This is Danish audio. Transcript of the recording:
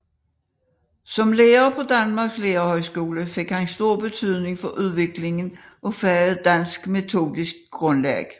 Som lærer på Danmarks Lærerhøjskole fik han stor betydning for udviklingen af faget dansks metodiske grundlag